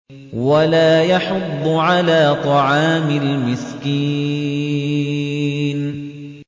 وَلَا يَحُضُّ عَلَىٰ طَعَامِ الْمِسْكِينِ